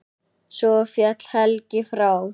Svo féll Helgi frá.